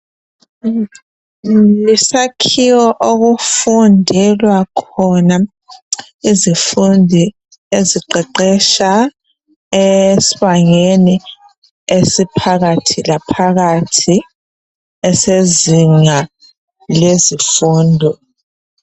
Yisakhiwo okufundelwa khona izifundi eziqeqetsha esibangeni esiphakathi laphakathi esezinga lezifundo .